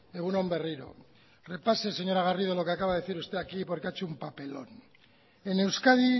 egun on berriro repase señora garrido lo que acaba de decir usted aquí porque ha hecho un papelón en euskadi